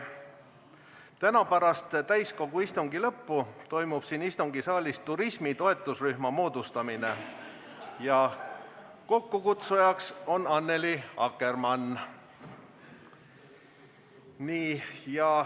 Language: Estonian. Täna pärast täiskogu istungi lõppu toimub siin istungisaalis turismi toetusrühma moodustamine, kokkukutsujaks on Annely Akkermann.